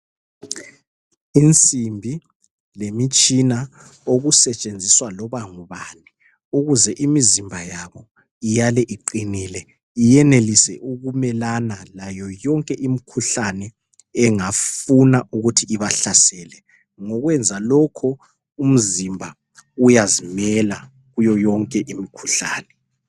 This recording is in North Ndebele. Insimbi lemitshina okusetshenziswa loba ngubani ukuze imizimba yabo iyale iqinile iyenelise ukumelana layo yonke imikhuhlane engafuna ukuthi ibahlasele. Ngokwenza lokho, umzimba uyazimela kuyo yonke imikhuhlane.